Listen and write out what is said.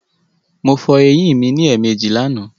Mo fo eyín mi lẹ́èmejì lànàá